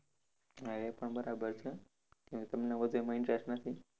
હા એ પણ બરાબર છે કેમ કે તમને વધુ એમાં interest નથી.